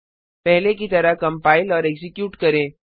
पहले की तरह कंपाइल और एक्जीक्यूट करें